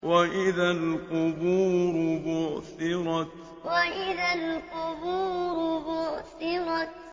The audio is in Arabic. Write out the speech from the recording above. وَإِذَا الْقُبُورُ بُعْثِرَتْ وَإِذَا الْقُبُورُ بُعْثِرَتْ